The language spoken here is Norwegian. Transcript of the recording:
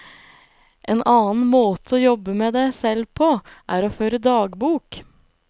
En annen måte å jobbe med deg selv på, er å føre dagbok.